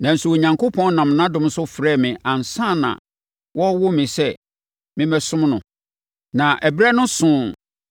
Nanso, Onyankopɔn nam nʼadom so frɛɛ me ansa na wɔrewo me sɛ memmɛsom no. Na berɛ no soo